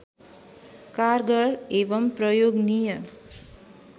कारगर एवं प्रयोगनीय